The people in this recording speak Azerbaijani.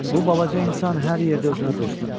Bu balaca insan hər yerdə özünə dost tapır.